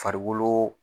Farikolo